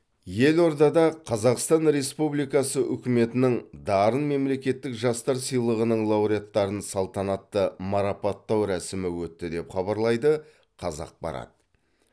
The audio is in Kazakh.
елордада қазақстан республикасы үкіметінің дарын мемлекеттік жастар сыйлығының лауреаттарын салтанатты марапаттау рәсімі өтті деп хабарлайды қазақпарат